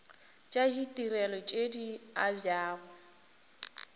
tša ditirelo tše di abjago